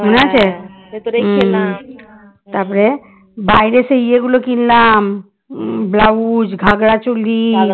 তারপরে বাইরে সেই ইয়ে গুলো কিনলাম blouse ঘাগড়াচলি